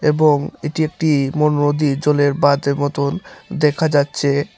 এবং এটি একটি বড় নদীর জলের বাঁধের মতন দেখা যাচ্ছে।